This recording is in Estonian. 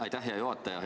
Aitäh, hea juhataja!